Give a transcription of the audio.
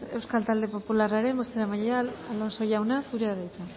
euskal talde popularraren bozeramailea alonso jauna zurea da hitza